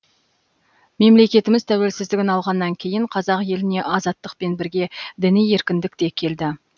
мемлекетіміз тәуелсіздігін алғаннан кейін қазақ еліне азаттықпен бірге діни еркіндік те келді